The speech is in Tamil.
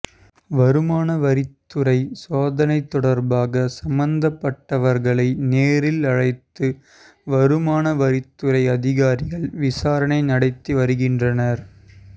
வருமான வரித்துறை சோதனை தொடர்பாக சம்பந்தப்பட்டவர்களை நேரில் அழைத்து வருமான வரித்துறை அதிகாரிகள் விசாரணை நடத்தி வருகின்றனர்